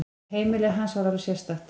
Heimili hans var alveg sérstakt.